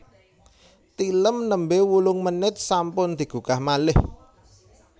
Tilem nembe wolong menit sampun digugah malih